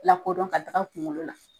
La kodɔn ka taga kunkolo la.